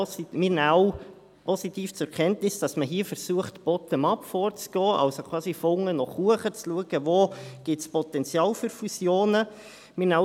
Wir nehmen auch positiv zur Kenntnis, dass man hier versucht, bottom-up vorzugehen, also quasi von unten nach oben zu schauen, wo es Potenzial für Fusionen gibt.